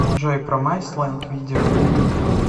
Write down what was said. джой промайс лэнд видео